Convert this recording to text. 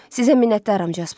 Sizə minnətdaram Jasper.